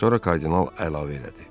Sonra kardinal əlavə elədi.